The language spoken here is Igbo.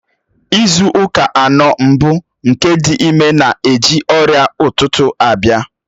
Izu ụka anọ mbụ nke ịdị ime na-eji ọrịa ụtụtụ abịa.